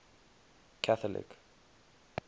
catholic